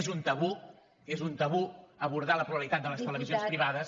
és un tabú és un tabú abordar la pluralitat de les televisions privades